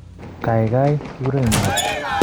Gaigai, kigurenin ngo?